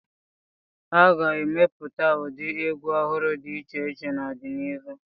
A ga-emepụta ụdị egwu ọhụrụ dị iche iche n'ọdịnihu.